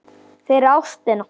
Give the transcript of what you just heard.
fyrir ástina